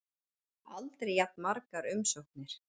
Aldrei jafn margar umsóknir